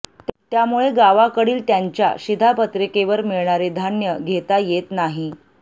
त्यामुळे गावाकडील त्यांच्या शिधापत्रिकेवर मिळणारे धान्य घेता येत नाही